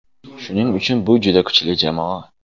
Shuning uchun bu juda kuchli jamoa.